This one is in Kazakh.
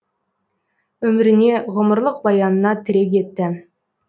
өміріне ғұмырлық баянына тірек етті